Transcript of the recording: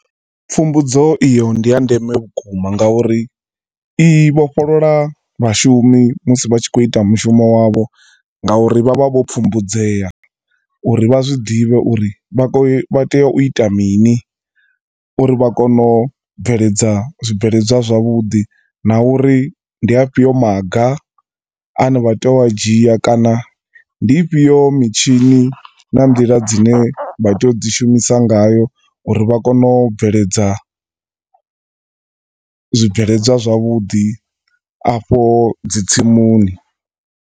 Pfumbudzo iyo ndi ya ndeme vhukuma ngauri i vhofholola vhashumi musi vha tshi khou ita mushumo wavho ngauri vha vha vho pfumbudzea uri vha zwiḓivhe uri vha khoya vha tea u ita mini, uri vha kono u bveledza zwibveledzwa zwavhudi, na uri ndi afhio maga ane vha tea u a dzhia kana ndi ifhio mitshini na nḓila dzine vha tea u dzi shumisa ngayo uri vha kone u bveledza zwibveledzwa zwavhudi afho dzi tsimuni.